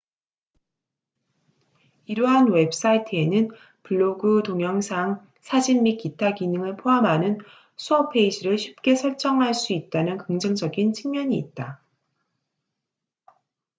이러한 웹사이트에는 블로그 동영상 사진 및 기타 기능을 포함하는 수업 페이지를 쉽게 설정할 수 있다는 긍정적인 측면이 있다